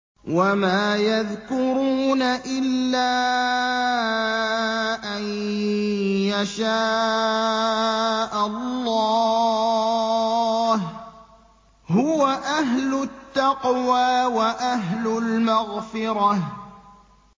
وَمَا يَذْكُرُونَ إِلَّا أَن يَشَاءَ اللَّهُ ۚ هُوَ أَهْلُ التَّقْوَىٰ وَأَهْلُ الْمَغْفِرَةِ